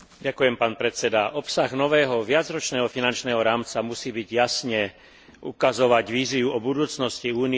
Obsah nového viacročného finančného rámca musí jasne ukazovať víziu o budúcnosti Únie a jej občanov.